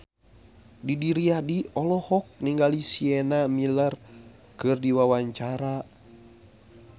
Didi Riyadi olohok ningali Sienna Miller keur diwawancara